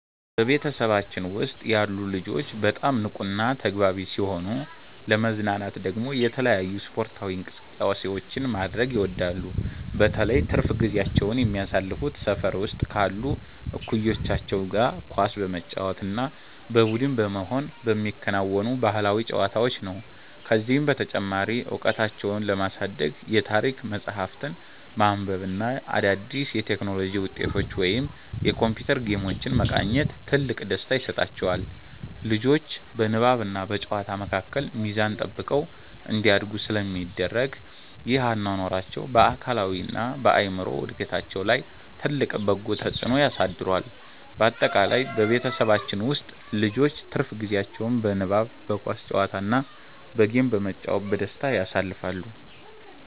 በቤተሰባችን ውስጥ ያሉ ልጆች በጣም ንቁና ተግባቢ ሲሆኑ፣ ለመዝናናት ደግሞ የተለያዩ ስፖርታዊ እንቅስቃሴዎችን ማድረግ ይወዳሉ። በተለይ ትርፍ ጊዜያቸውን የሚያሳልፉት ሰፈር ውስጥ ካሉ እኩዮቻቸው ጋር ኳስ በመጫወት እና በቡድን በመሆን በሚከወኑ ባህላዊ ጨዋታዎች ነው። ከዚህም በተጨማሪ እውቀታቸውን ለማሳደግ የታሪክ መጽሐፍትን ማንበብ እና አዳዲስ የቴክኖሎጂ ውጤቶችን ወይም የኮምፒውተር ጌሞችን መቃኘት ትልቅ ደስታ ይሰጣቸዋል። ልጆቹ በንባብና በጨዋታ መካከል ሚዛን ጠብቀው እንዲያድጉ ስለሚደረግ፣ ይህ አኗኗራቸው በአካላዊና በአእምሮ እድገታቸው ላይ ትልቅ በጎ ተጽዕኖ አሳድሯል። ባጠቃላይ በቤተሰባችን ውስጥ ልጆች ትርፍ ጊዜያቸውን በንባብ፣ በኳስ ጨዋታ እና በጌም በመጫወት በደስታ ያሳልፋሉ።